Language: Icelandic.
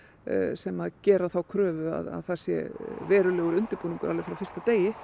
sem gera þá kröfu að það sé verulegur undirbúningur alveg frá fyrsta degi